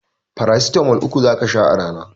Farasitamol uku zaka sha a rana